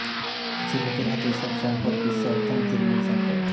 কিছু লোকের হাতে সব সম্পদ বিশ্ব অর্থনীতির মূল সংকট